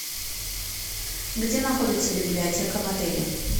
где находится библиотека в отеле